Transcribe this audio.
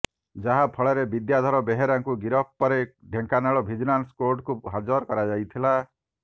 ଯାହାଫଳରେ ବିଦ୍ୟାଧର ବେହେରାଙ୍କୁ ଗିରଫ ପରେ ଢେଙ୍କାନାଳ ଭିଜିଲାନ୍ସ କୋର୍ଟକୁ ହାଜର କରାଯାଇଥିଲା